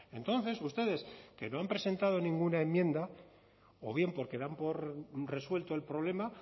entonces ustedes que no han presentado ninguna enmienda o bien porque dan por resuelto el problema